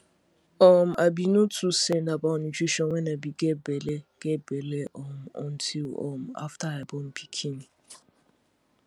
um i be no too send about nutrition when i be get belle get belle um until um after i born pikin